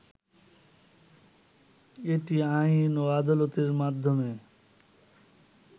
এটি আইন ও আদালতের মাধ্যমে